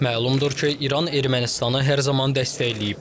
Məlumdur ki, İran Ermənistanı hər zaman dəstəkləyib.